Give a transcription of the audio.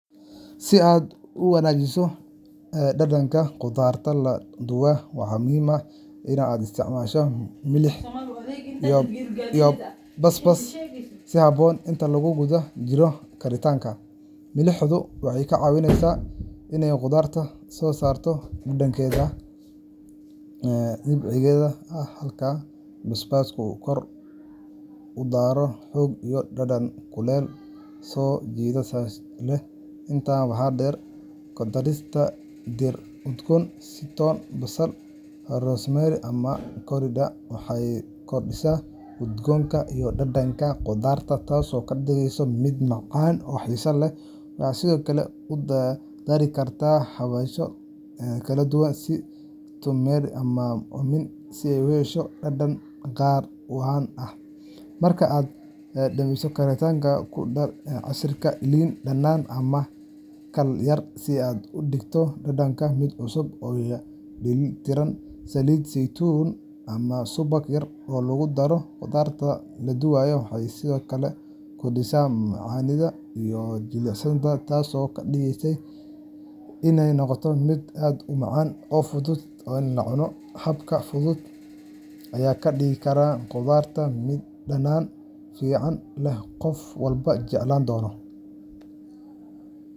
Si aad u wanaajiso dhadhanka khudradda la duway, waxaa muhiim ah in aad isticmaasho milix iyo basbaas si habboon inta lagu guda jiro karinta. Milixdu waxay ka caawisaa in ay khudradda soo saarto dhadhankeeda dabiiciga ah, halka basbaasku uu ku daro xoog iyo dhadhan kulul oo soo jiidasho leh. Intaa waxaa dheer, ku darista dhir udgoon sida toon, basal, rosemary, ama coriander waxay kordhisaa udgoonka iyo dhadhanka khudradda, taasoo ka dhigaysa mid macaan oo xiiso leh. Waxaad sidoo kale ku dari kartaa xawaashyo kala duwan sida turmeric ama cumin si aad u hesho dhadhan gaar ah oo qani ah. Marka aad dhamayso karinta, ku dar casiirka liin dhanaan ama khal yar si aad uga dhigto dhadhanka mid cusub oo dheeli tiran. Saliid saytuun ama subag yar oo lagu daro khudradda la duway waxay sidoo kale kordhinayaan macaanida iyo jilicsanaanta, taasoo ka dhigaysa inay noqoto mid aad u macaan oo fudud in la cuno. Habkan fudud ayaa ka dhigi kara khudradda mid dhadhan fiican leh oo qof walba jeclaan doono.